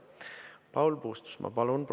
Paul Puustusmaa, palun!